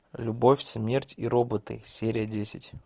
любовь смерть и роботы серия десять